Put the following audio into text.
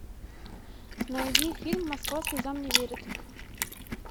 найди фильм москва слезам не верит